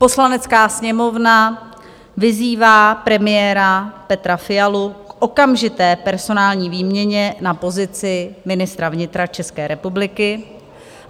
Poslanecká sněmovna vyzývá premiéra Petra Fialu k okamžité personální výměně na pozici ministra vnitra České republiky.